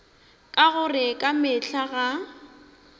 ka gore ka mehla ga